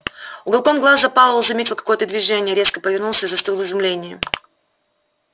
уголком глаза пауэлл заметил какое-то движение резко повернулся и застыл в изумлении